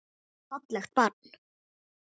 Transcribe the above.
Fallegt barn.